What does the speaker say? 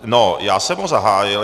No, já jsem ho zahájil.